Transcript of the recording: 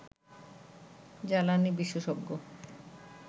জ্বালানি বিশেষজ্ঞ